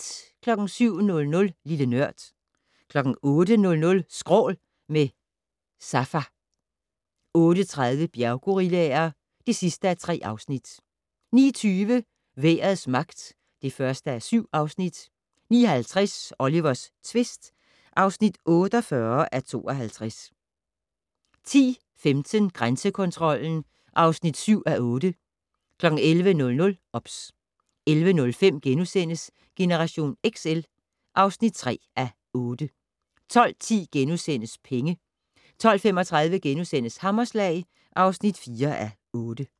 07:00: Lille Nørd 08:00: Skrål - med Safa 08:30: Bjerggorillaer (3:3) 09:20: Vejrets magt (1:7) 09:50: Olivers tvist (48:52) 10:15: Grænsekontrollen (7:8) 11:00: OBS 11:05: Generation XL (3:8)* 12:10: Penge * 12:35: Hammerslag (4:8)*